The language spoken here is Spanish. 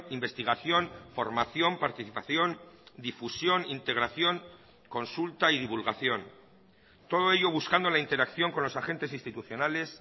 investigación formación participación difusión integración consulta y divulgación todo ello buscando la interacción con los agentes institucionales